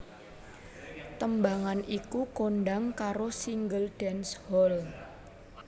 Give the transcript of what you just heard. Tembangan iku kondhang karo single dance hall